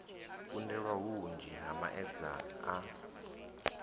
kundelwa hunzhi ha maedza a